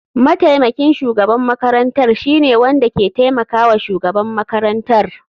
Mataimakin shugaban makarantar shine wanda ke taimakawa shugaban makarantar.